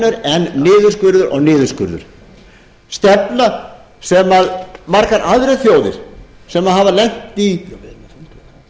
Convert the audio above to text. önnur en niðurskurður og niðurskurður stefna sem margar aðrar þjóðir sem hafa lent í